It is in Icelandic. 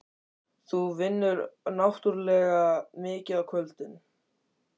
Þú vinnur náttúrlega mikið á kvöldin.